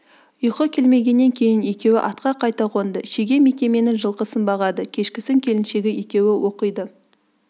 ұйқы келмегеннен кейін екеуі атқа қайта қонды шеге мекеменің жылқысын бағады кешкісін келіншегі екеуі оқиды